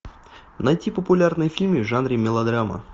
найти популярные фильмы в жанре мелодрама